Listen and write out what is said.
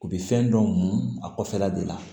U bɛ fɛn dɔw mun a kɔfɛla de la